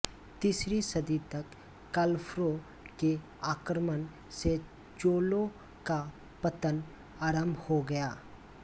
तीसरी सदी तक कालभ्रों के आक्रमण से चोलों का पतन आरम्भ हो गया